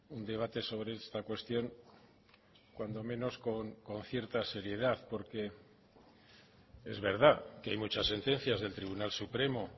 un debate sobre esta cuestión cuando menos con cierta seriedad porque es verdad que hay muchas sentencias del tribunal supremo